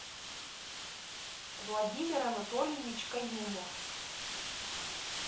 владимир анатольевич каюмов